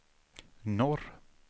norr